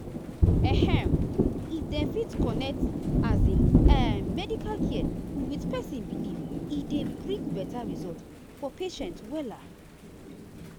ehm if dem fit connect um ah medical care with person belief e dey dey bring better result for patient. um